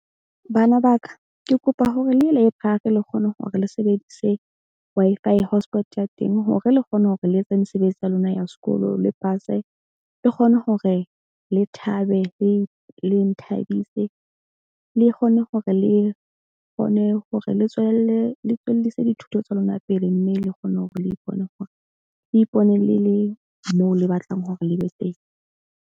Bana ba ka ke kopa hore le ye library le kgone hore le sebedise Wi-Fi hotspot ya teng hore le kgone hore le etse mesebetsi ya lona ya sekolo le pase le kgone hore le thabe. Le nthabise, le kgone hore le kgone hore le tswelelle le tswellise dithuto tsa lona pele. Mme le kgone hore le ipone hore le ipone le le moo le batlang hore le be teng.